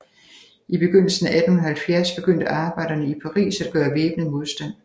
I begyndelsen af 1870 begyndte arbejderne i Paris at gøre væbnet modstand